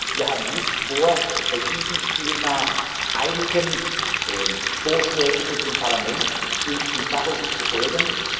Wir haben nicht vor, bei diesem Thema einigen Vorschlägen aus dem Parlament und im Fachausschuss zu folgen.